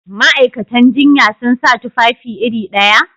Ma'aikatan jinya sun sa tufafi iri ɗaya?